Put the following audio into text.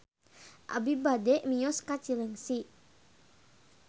Abi bade mios ka Cileungsi